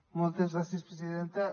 moltes gràcies presidenta